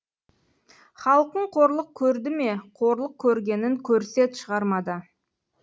халқың қорлық көрді ме қорлық көргенін көрсет шығармада